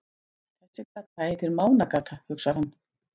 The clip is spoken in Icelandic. Þessi gata heitir Mánagata, hugsar hann.